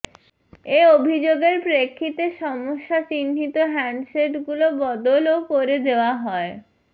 এ অভিযোগের প্রেক্ষিতে সমস্যাচিহ্নিত হ্যান্ডসেটগুলো বদলও করে দেওয়া হয়